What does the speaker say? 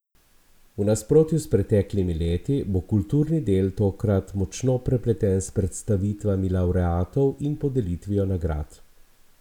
V nasprotju s preteklimi leti bo kulturni del tokrat močno prepleten s predstavitvami lavreatov in podelitvijo nagrad.